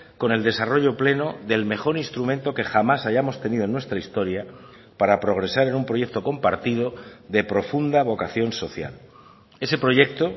con el desarrollo pleno del mejor instrumento que jamás hayamos tenido en nuestra historia para progresar en un proyecto compartido de profunda vocación social ese proyecto